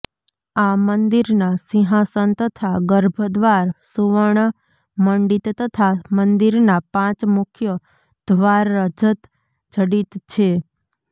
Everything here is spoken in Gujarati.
આ મંદિરના સિંહાસન તથા ગર્ભ દ્વાર સુવર્ણ મંડિતતથા મંદિરના પાંચ મુખ્ય ધ્વાર રજત જડિત છે